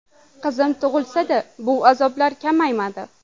Qizim tug‘ilsa-da, bu azoblar kamaymadi.